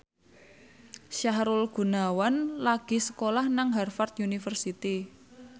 Sahrul Gunawan lagi sekolah nang Harvard university